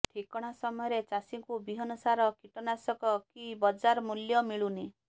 ଠିକଣା ସମୟରେ ଚାଷୀଙ୍କୁ ବିହନ ସାର କୀଟନାଶକ କି ବଜାର ମୂଲ୍ୟ ମିଳୁନି